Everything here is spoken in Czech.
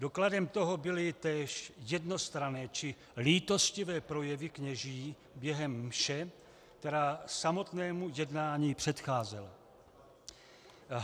Dokladem toho byly též jednostranné či lítostivé projevy kněží během mše, která samotnému jednání předcházela.